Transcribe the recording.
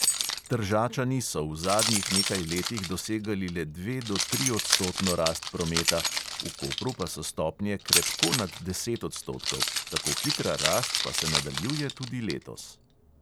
Tržačani so v zadnjih nekaj letih dosegali le dva do triodstotno rast prometa, v kopru pa so stopnje krepko nad deset odstotkov, tako hitra rast pa se nadaljuje tudi letos.